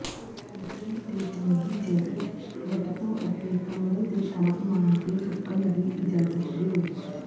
ਲੱਕੜੀ ਤੇ ਚੰਗੀ ਜੈਕਟ ਲਟਕੋ ਅਤੇ ਕਮਰੇ ਦੇ ਤਾਪਮਾਨ ਤੇ ਸੁੱਕਣ ਦੀ ਇਜਾਜ਼ਤ ਦਿਓ